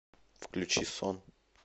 включи сон